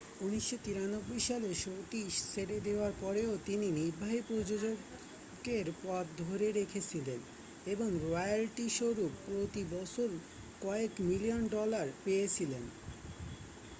1993 সালে শোটি ছেড়ে দেওয়ার পরেও তিনি নির্বাহী প্রযোজকের পদ ধরে রেখেছিলেন এবং রয়্যালটিস্বরূপ প্রতি বছর কয়েক মিলিয়ন ডলার পেয়েছিলেন